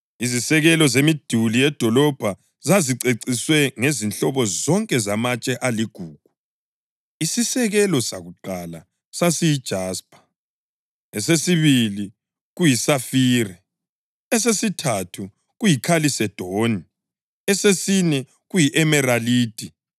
Izisekelo zemiduli yedolobho zaziceciswe ngezinhlobo zonke zamatshe aligugu. Isisekelo sakuqala sasiyijaspa, esesibili kuyisafire, esesithathu kuyikhalisedoni, esesine kuyi-emaralidi,